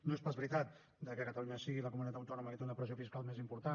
no és pas veritat que catalunya sigui la comunitat autònoma que té una pressió fiscal més important